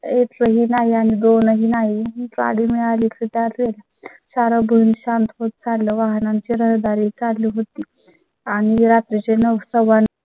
एक ही नाही आणि दोन्ही नाही ही गाडी मिळाली तर त्यातील चार गुण शांत होत. चाललं वाहनांची रहदारी चालू होती आणि रात्री चे नऊ